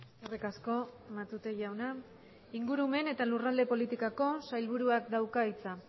eskerrik asko matute jauna ingurumen eta lurralde politikako sailburuak dauka hitza